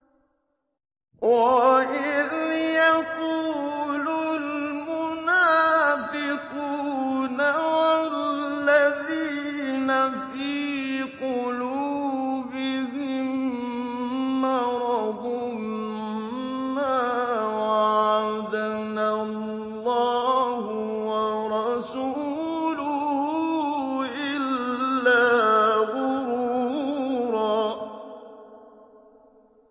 وَإِذْ يَقُولُ الْمُنَافِقُونَ وَالَّذِينَ فِي قُلُوبِهِم مَّرَضٌ مَّا وَعَدَنَا اللَّهُ وَرَسُولُهُ إِلَّا غُرُورًا